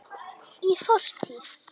Í fortíð!